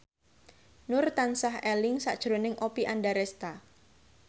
Nur tansah eling sakjroning Oppie Andaresta